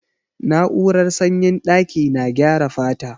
Na'urar sanyin daƙi na gyara fata.